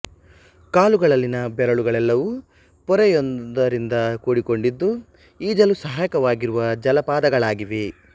ಕಾಲುಗಳಲ್ಲಿನ ಬೆರಳುಗಳೆಲ್ಲವೂ ಪೊರೆ ಯೊಂದರಿಂದ ಕೂಡಿಕೊಂಡಿದ್ದು ಈಜಲು ಸಹಾಯಕವಾಗಿರುವ ಜಾಲಪಾದಗಳಾಗಿವೆ